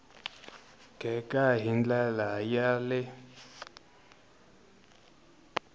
gega hi ndlela ya le